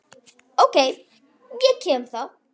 OK, ég kem þá!